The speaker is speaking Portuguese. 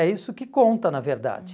É isso que conta, na verdade.